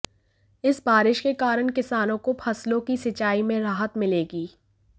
इस बारिश के कारण किसानों को फसलों की सिंचाई में राहत मिलेगी